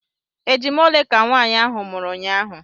Ejima ole ka nwaanyị ahụ mụrụ unyaahụ?